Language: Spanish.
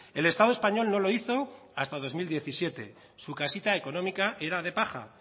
el estado español no lo hizo hasta dos mil diecisiete su casita económica era de paja